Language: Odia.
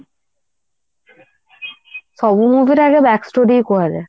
ସବୁ movie ରେ ଆଗ ହିଁ back story କୁହାଯାଏ